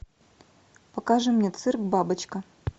покажи мне цирк бабочка